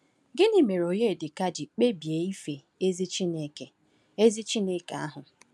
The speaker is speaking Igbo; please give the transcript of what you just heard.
Gịnị mere Onyedika ji kpebie ife ezi Chineke ezi Chineke ahụ?